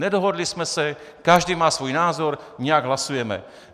Nedohodli jsme se, každý má svůj názor, nějak hlasujeme.